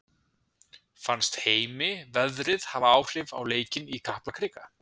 Fannst Heimi veðrið hafa áhrif á leikinn í Kaplakrika?